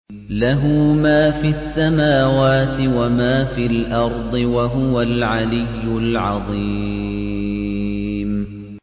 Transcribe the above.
لَهُ مَا فِي السَّمَاوَاتِ وَمَا فِي الْأَرْضِ ۖ وَهُوَ الْعَلِيُّ الْعَظِيمُ